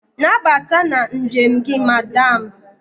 Nabata na njem gị Madam.